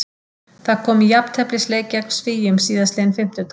Það kom í jafnteflisleik gegn Svíum síðastliðinn fimmtudag.